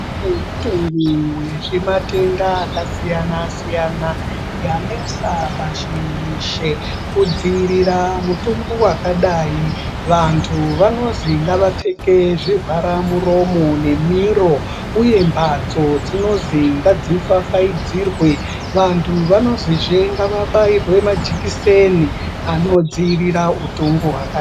Kune mutongo wezvematenda akasiyana -siyana yanesa pashi reshe. Kudziirira mutongo wakadai vantu vanozi ngavapfeke zvivhara muromo nemiro uye mbatso dzinozi ngadzifafaidzirwe uye vantu vanoziye ngavabaiwe majekiseni anodzivirira utongo hwakadai.